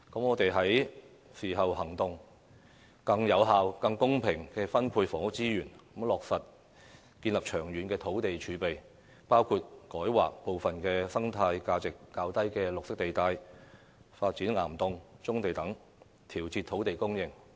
我們是時候行動，更有效和更公平地分配房屋資源，以落實建立長遠的土地儲備，包括改劃部分生態價值較低的綠化地帶，以及發展岩洞和棕地等，以調節土地供應。